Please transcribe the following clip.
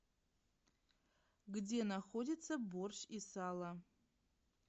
где находится борщ и сало